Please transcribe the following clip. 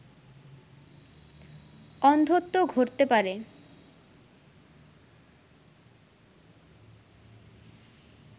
অন্ধত্ব ঘটতে পারে